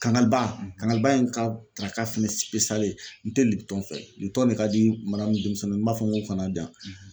Kangaliba kangaliba ye n ka daraka fana n tɛ fɛ ne ka di ni denmisɛnninw ma n b'a fɔ n ko u kana diyan.